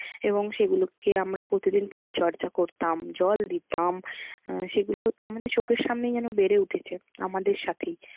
এবং সেগুলোকে আমরা প্রতিদিন পরিচর্যা করতাম জল দিতাম। সেগুলো আমাদের চোখের সামনেই যেন বেড়ে উঠেছে আমাদের সাথেই।